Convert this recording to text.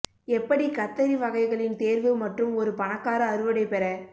எப்படி கத்தரி வகைகளின் தேர்வு மற்றும் ஒரு பணக்கார அறுவடை பெற